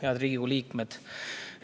Head Riigikogu liikmed!